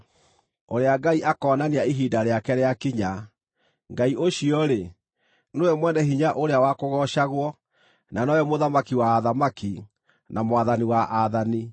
ũrĩa Ngai akoonania ihinda rĩake rĩakinya. Ngai ũcio-rĩ, nĩwe mwene hinya ũrĩa wa kũgoocagwo, na nowe Mũthamaki wa athamaki, na Mwathani wa aathani.